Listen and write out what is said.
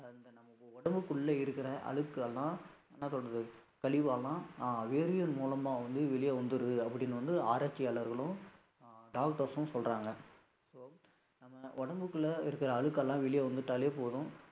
நம்ம உடம்புக்குள்ள இருக்கிற அழுக்கு எல்லாம், என்ன சொல்லுறது? கழிவெல்லாம் ஆஹ் வேர்வை மூலமா வந்து வெளியே வந்துருது அப்படின்னு வந்து, ஆராய்ச்சியாளர்களும் doctors ம் சொல்றாங்க, so நம்ம உடம்புக்குள்ள இருக்கிற அழுக்கெல்லாம் வெளியே வந்துட்டாலே போதும்